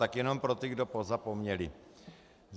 Tak jenom pro ty, kdo pozapomněli.